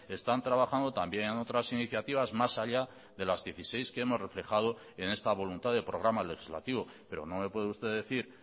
están trabajando también en otras iniciativas más allá de las dieciséis que hemos reflejado en esta voluntad de programa legislativo pero no me puede usted decir